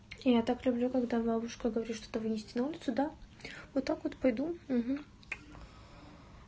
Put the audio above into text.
я так люблю когда бабушка говорит что вынести на улицу да вот так вот пойду